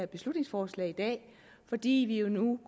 beslutningsforslag i dag fordi vi jo nu